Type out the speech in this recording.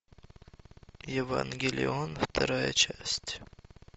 евангелион вторая часть